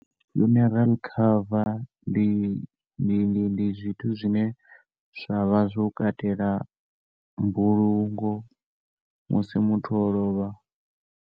Funeral cover, ndi ndi ndi ndi zwithu zwine zwa vha zwo katela mbulungo musi muthu o lovha.